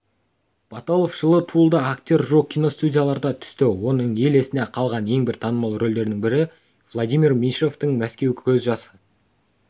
баталов жылы туылды актер жуық кинотуындыларға түсті оның ел есінде қалған ең бір танымал рөлдерінің бірі владимир меньшовтың мәскеу көз жасқа